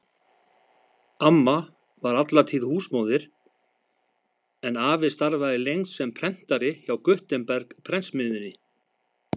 Amma var alla tíð húsmóðir en afi starfaði lengst sem prentari hjá Gutenberg-prentsmiðjunni.